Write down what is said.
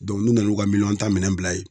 n'u nan'u ka miliyɔn tan minɛn bila ye